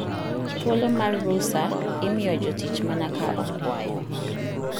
Thuolo mar rusa imiyo jotich mana ka okwayo.